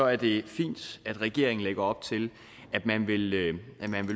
er det fint at regeringen lægger op til at man vil